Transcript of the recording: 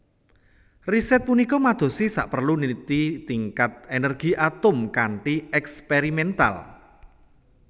Riset punika madosi saperlu nliti tingkat energi atom kanthi ékspériméntal